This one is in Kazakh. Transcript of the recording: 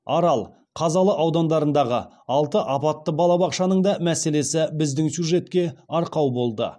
арал қазалы аудандарындағы алты апатты балабақшаның да мәселесі біздің сюжетке арқау болды